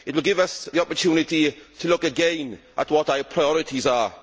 It will give us the opportunity to look again at what our priorities are.